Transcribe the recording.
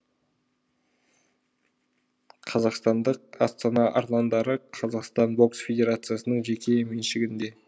қазақстандық астана арландары қазақстан бокс федерациясының жеке меншігінде